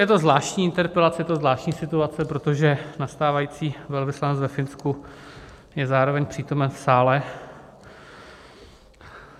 Je to zvláštní interpelace, je to zvláštní situace, protože nastávající velvyslanec ve Finsku je zároveň přítomen v sále.